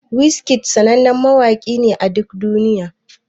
Wizkid sannanen mawaki ne a duk duniya.